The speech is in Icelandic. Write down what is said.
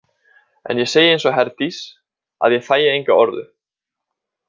En ég segi eins og Herdís að ég þægi enga orðu.